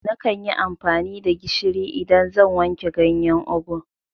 Nakan yi amfani da gishiri idan zan wanke ganyen ugwu